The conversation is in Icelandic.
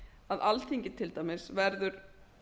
að alþingi til dæmis verður